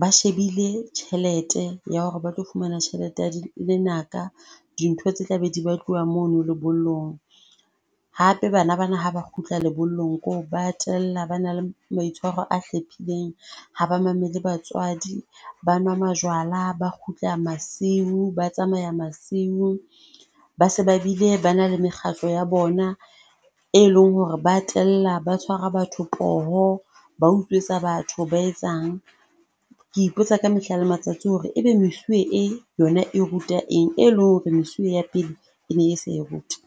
Ba shebile tjhelete ya hore ba tlo fumana tjhelete ya lenaka. Dintho tse tla be di batluwa mono lebollong. Hape bana ba na ha ba kgutla lebollong kore ba tella ba na le maitshwaro a hlephileng. Ha ba mamele batswadi, ba nwa majwala, ba kgutla masiu, ba tsamaya masiu ba se ba bile ba na le mekgatlo ya bona e leng hore ba tella, ba tshwara batho poho, ba utswetsa batho, ba etsang. Ke ipotsa ka mehla le matsatsi hore e be mesuwe e yona e ruta eng e leng hore mesuwe ya pele e ne sa e ruti.